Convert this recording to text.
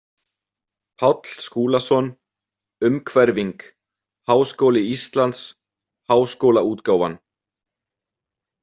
Páll Skúlason, Umhverfing, Háskóli Íslands- Háskólaútgáfan.